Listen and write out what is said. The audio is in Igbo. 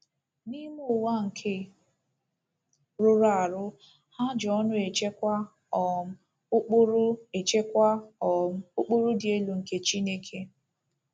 N’ime ụwa nke rụrụ arụ, ha ji ọṅụ echekwa um ụkpụrụ echekwa um ụkpụrụ dị elu nke Chineke.